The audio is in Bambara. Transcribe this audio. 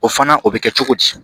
O fana o bɛ kɛ cogo di